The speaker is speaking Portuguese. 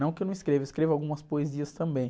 Não que eu não escreva, eu escrevo algumas poesias também.